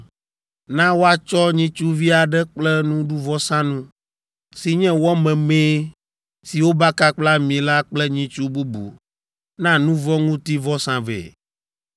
Na woatsɔ nyitsuvi aɖe kple nuɖuvɔsanu si nye wɔ memee si wobaka kple ami la kple nyitsu bubu na nu vɔ̃ ŋuti vɔsa vɛ.